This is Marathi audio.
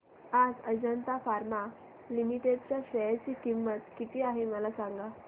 आज अजंता फार्मा लिमिटेड च्या शेअर ची किंमत किती आहे मला सांगा